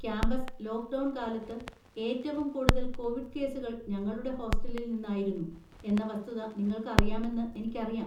Campus lockdown കാലത്ത് ഏറ്റവും കൂടുതൽ കൊവിഡ് കേസുകൾ ഞങ്ങളുടെ ഹോസ്റ്റലിൽ നിന്നായിരുന്നു എന്ന വസ്തുത നിങ്ങൾക്കറിയാമെന്ന് എനിക്കറിയാം.